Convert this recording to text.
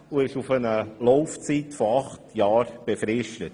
Es ist auf eine Laufzeit von acht Jahren befristet.